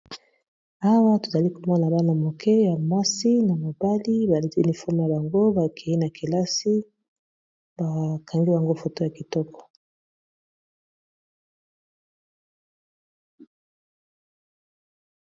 Awa tozali komona bana moke ya masi na mobali baliti lifome ya bango, bakeyi na kelasi bakangi bango foto ya kitoko